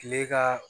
Kile ka